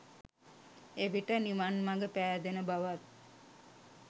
එවිට නිවන් මඟ පෑදෙන බවත්